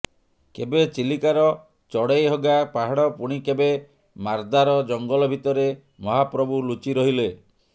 କେବେ ଚିଲିକାର ଚଢେଇହଗା ପାହାଡ଼ ପୁଣି କେବେ ମାରଦାର ଜଙ୍ଗଲ ଭିତରେ ମହାପ୍ରଭୁ ଲୁଚି ରହିଲେ